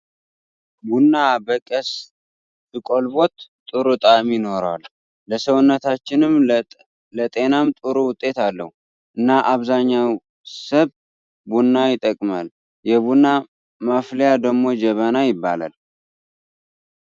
ቡና በቀስ ስቆልበት ጥሩ ጣዕም ይኖራል። ለሰውነታችንም ለጠናም ጥሩ ውጤት ኣለው። እና ኣብዛኛው ሰብ ቡና ይጠቀማል። የቡና ማፍልያ ደሞ ጀበና ይባላል።